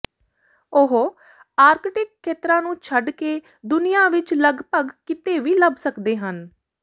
ਉਹ ਆਰਕਟਿਕ ਖੇਤਰਾਂ ਨੂੰ ਛੱਡ ਕੇ ਦੁਨੀਆਂ ਵਿਚ ਲਗਭਗ ਕਿਤੇ ਵੀ ਲੱਭ ਸਕਦੇ ਹਨ